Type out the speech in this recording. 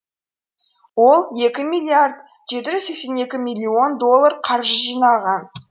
ол екі миллиард жеті жүз сексен екі миллион доллар қаржы жинаған